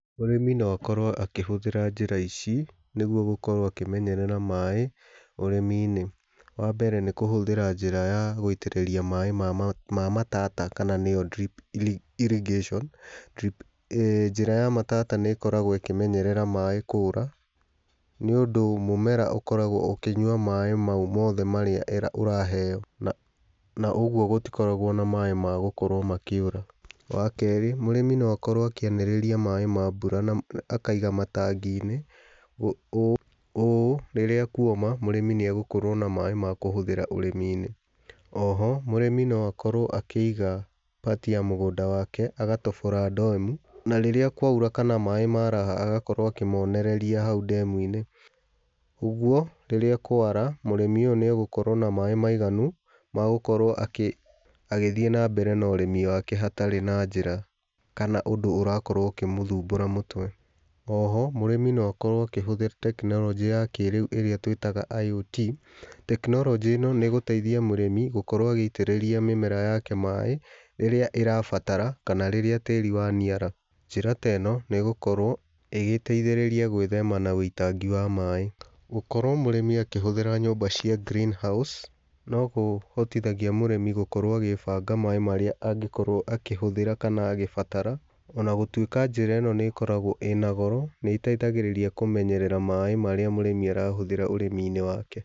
Mũrĩmi no akorwo akĩhũthĩra njĩra ici nĩguo gũkorwo akĩmenyerera maaĩ ũrĩmi-inĩ. Wa mbere, nĩ kũhũthĩra njĩra ya gũitĩrĩria maaĩ ma matata, kana nĩyo drip irrigation. Njĩra ya matata nĩ ĩkoragwo ĩkĩmenyerera maaĩ kũũra, nĩ ũndũ mũmera ũkoragwo ũkĩnyua maaĩ mau moothe marĩa ũraheyo. Na ũguo gũtikoragwo na maaĩ ma gũkorwo makĩũra. Wakerĩ, mũrĩmi no akorwo akĩanĩrĩria maaĩ ma mbura na akaiga matangi-inĩ. Ũũ rĩrĩa kuoma mũrĩmi nĩ agũkorwo na maaĩ ma kũhũthĩra ũrĩmi-inĩ. O ho mũrĩmi no akorwo akĩiga part ya mũgũnda wake, akatobora ndemu na rĩrĩa kwaura, kana maaĩ maraha agakorwo akĩmonereria hau ndemu-inĩ. Ũguo rĩrĩa kwara mũrĩmi ũyũ nĩ agũkorwo na maaĩ maiganu ma gũkorwo agĩthiĩ na mbere na ũrĩmi wake hatarĩ na njĩra, kana ũndũ ũrakorwo ũkĩmũthumbũra mũtwe. O ho mũrĩmi no akorwo akĩhũthĩra tekinoronjĩ ya kĩrĩu, ĩrĩa twĩtaga IUT. Tekinoronjĩ ĩno nĩ ĩgũteithia mũrĩmi gũkorwo agĩitĩrĩria mĩmera yake maaĩ, rĩrĩa ĩrabatara, kana rĩrĩa tĩĩri wa niara. Njĩra ta ĩno nĩ ĩgũkorwo ĩgĩteithĩrĩria gwĩthema na wũitangi wa maaĩ. Gũkorwo mũrĩmi akĩhũthĩra nyũmba cia Green House, no kũhotithagia mũrĩmi gũkorwo agĩbanga maaĩ marĩa angĩkorwo akĩhũthĩra, kana agĩbatara, ona gũtuĩka njĩra ĩno nĩ ĩkoragwo ĩna goro, nĩ ĩteithagirĩria kũmenyerera maaĩ marĩa mũrĩmi arahũthĩra ũrĩmi-inĩ wake.